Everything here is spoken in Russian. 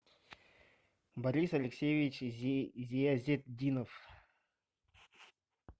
борис алексеевич зиязетдинов